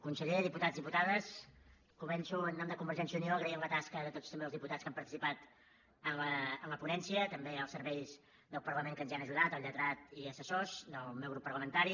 conseller diputats diputades començo en nom de convergència i unió agraint la tasca de tots també els diputats que han participat en la ponència també els serveis del parlament que ens hi han ajudat el lletrat i assessors del meu grup parlamentari